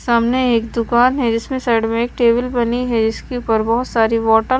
सामने एक दुकान है जिसमें साइड में एक टेबल बनी है जिसके ऊपर बहुत सारी वाटर --